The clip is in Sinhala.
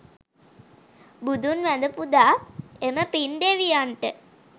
බුදුන් වැඳ පුදා එම පින් දෙවියන්ට